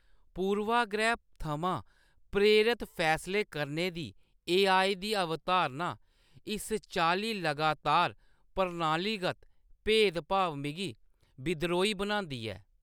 पूर्वाग्रह थमां प्रेरत फैसले करने दी ए.आई. दी अवधारणा, इस चाल्ली लगातार प्रणालीगत भेद-भाव, मिगी बिद्रोही बनांदी ऐ।